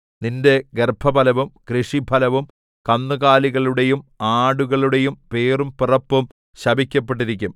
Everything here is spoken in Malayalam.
നിന്റെ ഗർഭഫലവും കൃഷിഫലവും കന്നുകാലികളുടെയും ആടുകളുടെയും പേറും പിറപ്പും ശപിക്കപ്പെട്ടിരിക്കും